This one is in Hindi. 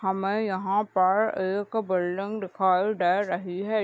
हमे यहां पर एक बिल्डिंग दिखाई दे रही है।